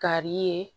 Kari ye